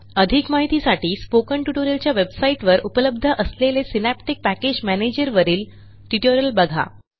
अधिक माहितीसाठी स्पोकन ट्युटोरियलच्या वेबसाईटवर उपलब्ध असलेले सिनॅप्टिक पॅकेज मॅनेजर वरील ट्युटोरियल बघा